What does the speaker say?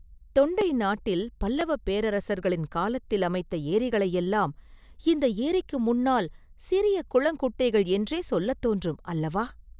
தொண்டை நாட்டில் பல்லவப் பேரரசர்களின் காலத்தில் அமைத்த ஏரிகளையெல்லாம் இந்த ஏரிக்கு முன்னால் சிறிய குளங்குட்டைகள் என்றே சொல்லத் தோன்றும் அல்லவா?